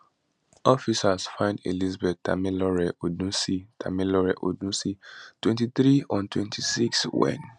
officers find elizabeth tamilore odunsi tamilore odunsi 23 on 26 april wen